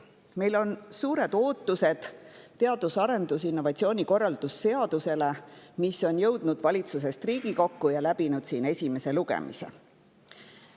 Meil on suured ootused teadus- ja arendustegevuse ning innovatsiooni korralduse seaduse eelnõule, mis on jõudnud valitsusest Riigikokku ja läbinud esimese lugemise.